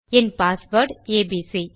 N password ABC